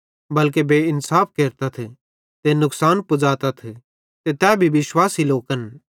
बल्के बेइन्साफ केरतथ ते नुकसान पुज़ातथ ते तै भी विश्वासी लोकन